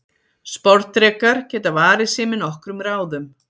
Sporðdrekar geta varið sig með nokkrum ráðum.